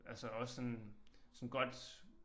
Altså også sådan sådan godt